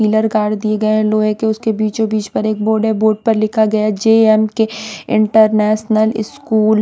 pillar गाड़ दिए गये हैं लोहे के उसके बीचो-बीच पर एक बोर्ड हैं बोर्ड पर लिखा गया जेएम के इंटरनेशनल स्कूल --